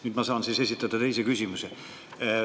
Nüüd ma saan esitada teise küsimuse.